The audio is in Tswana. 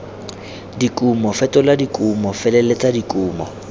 dikumo fetola dikumo feleletsa dikumo